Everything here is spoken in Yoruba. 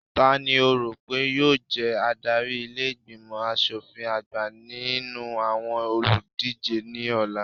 Tani o rò pé yóò jẹ adarí ilé ìgbìmọ̀ aṣòfin àgbà nínú àwọn olùdíje ní ọ̀la?